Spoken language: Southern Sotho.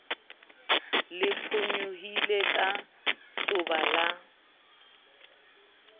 le phonyohile ka soba la